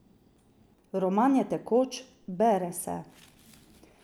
Roman je tekoč, bere se.